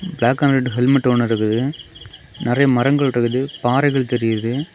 Black and red helmet ஒண்ணு இருக்குது நெறைய மரங்கள் இருக்குது பாறைகள் தெரியுது.